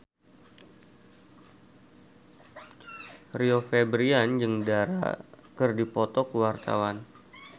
Rio Febrian jeung Dara keur dipoto ku wartawan